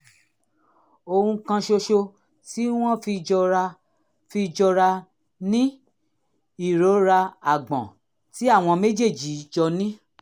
ohun kan ṣoṣo tí wọ́n fi jọra fi jọra ni ìrora àgbọ̀n tí àwọn méjèèjì jọ ní